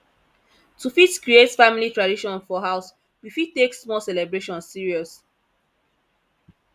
to fit create family tradition for house we fit take small celebration serious